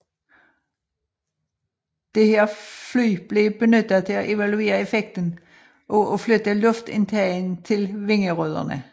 Dette fly blev benyttet til at evaluere effekten af at flytte luftindtagene til vingerødderne